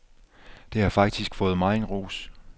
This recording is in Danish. Det har faktisk fået megen ros.